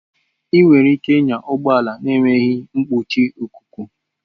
Ị nwere ike ịnya ụgbọ ala na-enweghị nkpuchi ikuku.